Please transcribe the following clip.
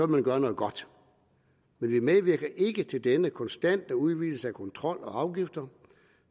man gøre noget godt men vi medvirker ikke til denne konstante udvidelse af kontrol og afgifter